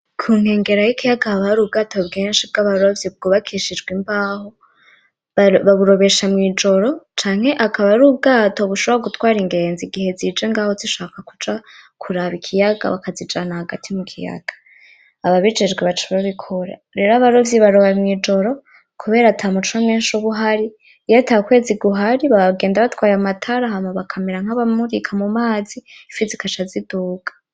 Kunkegera y'ikiyaga haba har' ubwato bwinshi bw'abarovyi bwubakishijwe imbaho, baburobesha mw'ijoro canke akaba ar'ubwato bushobora gutwara ingenzi igihe zije ngaho zishaka kuja kuraba ikiyaga; bakazijana hagati mu kiyaga, ababijejwe baca babikora, rero abarovyi baroba mw'ijoro kubera ata muco mwinshi ub'uhari, iyo ata kwezi guhari bagenda batwaye amatara hama bakamera nkaba murika mu mazi ifi zigaca ziduga.